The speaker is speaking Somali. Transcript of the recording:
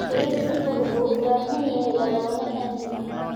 Xiriirka fog wuxuu u baahan yahay lamaane aamin ah.